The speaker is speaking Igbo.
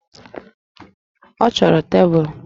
Ọ chọrọ tebụlụ?